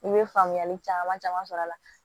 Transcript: I bɛ faamuyali caman caman sɔrɔ a la